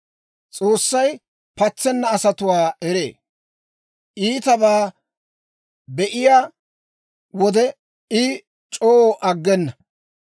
S'oossay patsenna asatuwaa eree; iitabaa be'iyaa wode, I c'oo aggena.